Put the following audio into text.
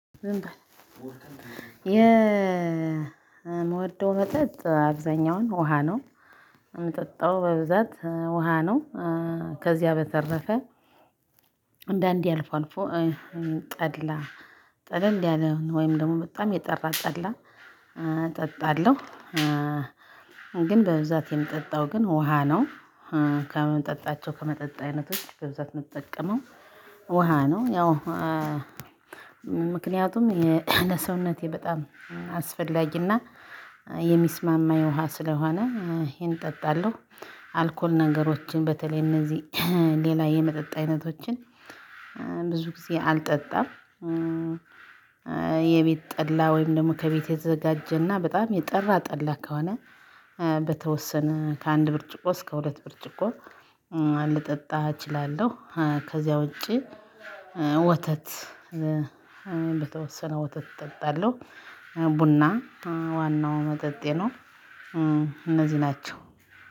የምወደው መጠጥ አብዛኛውን ውሃ ነው። በብዛት ውሃ ነው። ከዚያ በተረፈ አንዳንዴ አልፎ አልፎ ጠላ ጠለል ያለ ወይም ደግሞ በጣም የጠራ ጠላ እጠጣለሁ። ግን በብዛት የምጠጣው ግን ውሃ ነው። ከመጠጣቸው ከመጠጥ አይነቶች በብዛት ምጠቀመው ውሃ ነው። ያው ምክንያቱም የለሰውነቴ በጣም አስፈላጊና የሚስማማ የውሃ ስለሆነ ይሄን እጠጣለሁ። አልኮል ነገሮችን በተለይም እንደዚህ ሌላ የመጠጥ አይነቶችን ብዙ ጊዜ አልጠጣም። የቤት ጠላ ወይም ደግሞ ከቤት የተዘጋጀና በጣም የጠራ ጠላ ከሆነ። በተወሰነ ከአንድ ብርጭቆ እስከ ሁለት ብርጭቆ ልጠጣ እችላለሁ። ከዚያ ውጪ ወተት በተወሰነ ወተት እጠጣለሁ። ቡና ዋናው መጠጤ ነው። እነዚህ ናቸው።